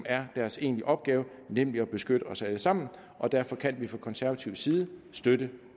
er deres egentlige opgave nemlig at beskytte os alle sammen derfor kan vi fra konservativ side støtte